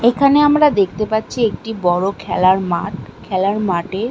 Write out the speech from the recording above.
এখানে আমরা দেখতে পাচ্ছি একটি বড় খেলার মাঠ খেলার মাঠ--